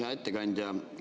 Hea ettekandja!